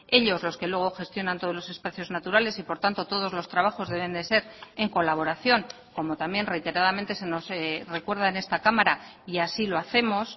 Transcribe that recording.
ellos los que luego gestionan todos los espacios naturales y por tanto todos los trabajos deben de ser en colaboración como también reiteradamente se nos recuerda en esta cámara y así lo hacemos